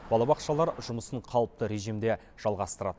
балабақшалар жұмысын қалыпты режимде жалғастырады